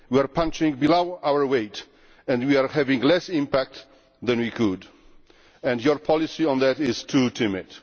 We are punching below our weight, we are having less impact than we could, and your policy on that is too timid.